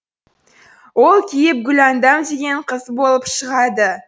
ол киіп гүләндам деген қыз болып шығады